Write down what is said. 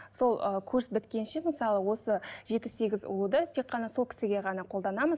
сол ы курс біткенше мысалы осы жеті сегіз ұлуды тек қана сол кісіге ғана қолданамыз